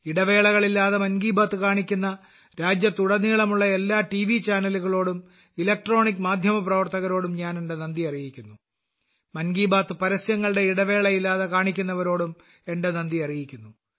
ഇടവേളകളില്ലാതെ മൻ കി ബാത്ത് കാണിക്കുന്ന രാജ്യത്തുടനീളമുള്ള എല്ലാ ടിവി ചാനലുകളോടും ഇലക്ട്രോണിക് മാധ്യമപ്രവർത്തകരോടും ഞാൻ എന്റെ നന്ദി അറിയിക്കുന്നു മൻ കി ബാത് പരസ്യങ്ങളുടെ ഇടവേള ഇല്ലാതെ കാണിക്കുന്നവരോടും എന്റെ നന്ദി അറിയിക്കുന്നു